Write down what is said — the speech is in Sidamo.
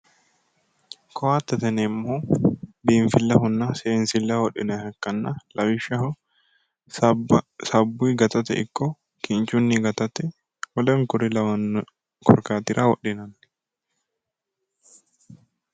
Kottete yineemmohu biinfillehonna seensilleho wodhinanniha ikkanna lawishshaho sabbunni gatate ikko kinchunni gatate woleno kuri lawanno korkaatira wodhinanni.